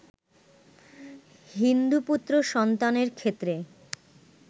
হিন্দু পুত্র সন্তানের ক্ষেত্রে